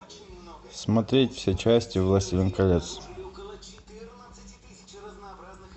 смотреть все части властелин колец